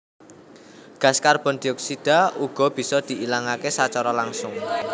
Gas karbon dioksida uga bisa diilangaké sacara langsung